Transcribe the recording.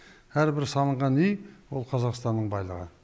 әрбір салынған үй ол қазақстанның байлығы